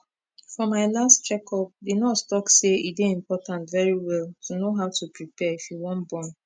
for my last check upthe nurse talk say e dey important very well to know how to prepare if you wan born